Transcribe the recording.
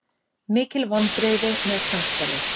Mikil vonbrigði með samstarfið